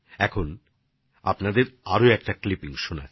এখন আমি আপনাদের আরও একটা কন্ঠস্বর শোনাচ্ছি